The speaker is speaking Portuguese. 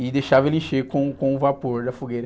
E deixava ele encher com, com o vapor da fogueira.